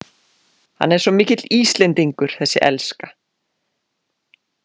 Hann er svo mikill Íslendingur, þessi elska!